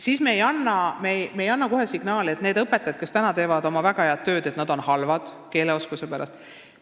Me ei anna signaali, et need õpetajad, kes teevad praegu oma tööd väga hästi, oleksid nagu halvad oma keeleoskuse tõttu.